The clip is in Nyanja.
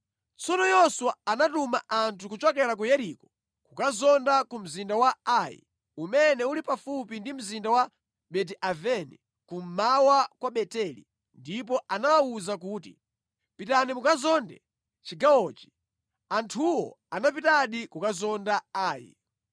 Tsono Yoswa anatuma anthu kuchokera ku Yeriko kukazonda ku mzinda wa Ai umene uli pafupi ndi mzinda wa Beti-Aveni kummawa kwa Beteli, ndipo anawawuza kuti, “Pitani mukazonde chigawochi.” Anthuwo anapitadi kukazonda Ai.